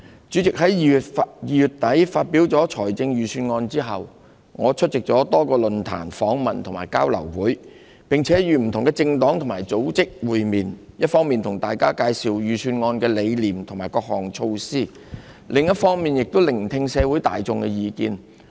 主席，在2月底發表預算案後，我出席了多個論壇、訪問和交流會，並與不同的政黨和組織會面，一方面向大家介紹預算案的理念和各項措施，另一方面也聆聽社會大眾的意見。